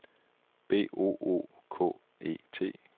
B O O K E T